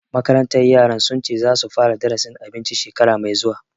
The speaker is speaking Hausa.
Makarantar yaran sun ce za su fara darasin abinci shekara mai zuwa